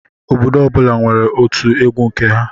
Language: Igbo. Obodo ọbula nwèrè ótụ egwu nke ha.